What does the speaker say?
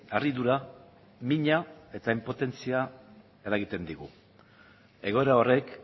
harridura mina eta inpotentzia eragiten digu egoera horrek